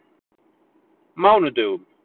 mánudögunum